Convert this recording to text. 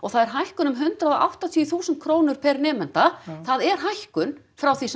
það er hækkun um hundrað og áttatíu þúsund krónur per nemanda það er hækkun frá því sem